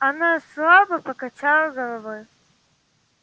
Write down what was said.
она слабо покачала головой